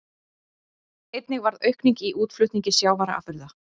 Einnig varð aukning í útflutningi sjávarafurða